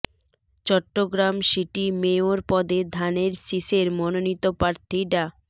Chittagong city mayor পদে ধানের শীষের মনোনীত প্রার্থী ডা